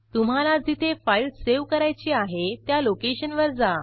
तुम्हाला जिथे file save करायची आहे त्या लोकेशनवर जा